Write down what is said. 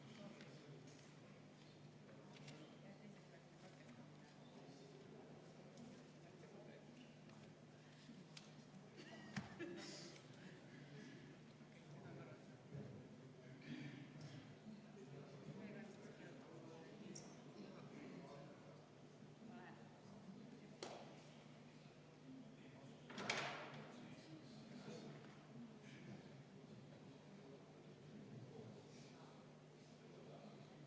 Rahvusvahelise õiguse järgi toimub kuritegu inimsuse vastu, mille eest tuleb vastutusele võtta mitte ainult need isikud, kes neid kuritegusid, mõrvasid, genotsiidi otseselt läbi viivad, vaid ka need isikud, kes on selleks andnud korralduse ja käsu ning kelle tahtel seda läbi viiakse.